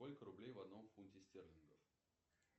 сколько рублей в одном фунте стерлингов